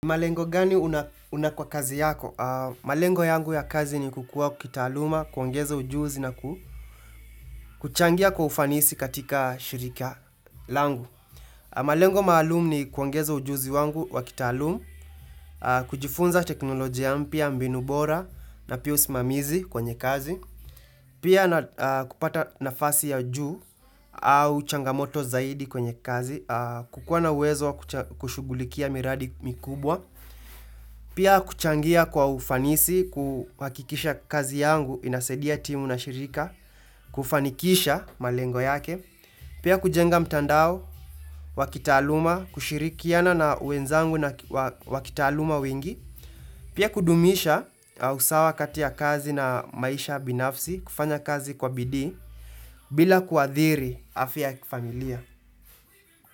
Malengo gani una kwa kazi yako? Malengo yangu ya kazi ni kukuwa kitaaluma, kuongeza ujuzi na kuchangia kwa ufanisi katika shirika langu. Malengo maalumu ni kuongeza ujuzi wangu wa kitaalumu, kujifunza teknolojia mpya, mbinu bora na pia usimamizi kwenye kazi. Pia na kupata nafasi ya juu au changamoto zaidi kwenye kazi, kukuwa na uwezo wa kushugulikia miradi mikubwa. Pia kuchangia kwa ufanisi, kuhakikisha kazi yangu, inasaidia timu na shirika, kufanikisha malengo yake. Pia kujenga mtandao, wakitaaluma, kushirikiana na wenzangu na wa kitaaluma wengi. Pia kudumisha usawa kati ya kazi na maisha binafsi, kufanya kazi kwa bidii bila kuadhiri afya ya kifamilia.